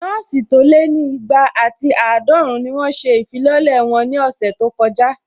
Nọ́ọ̀sì tó lé ní igba àti àádọ́run ni wọ́n ṣe ìfilọ́lẹ̀ wọn ní ọ̀sẹ̀ tó kọjá